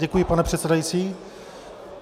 Děkuji, pane předsedající.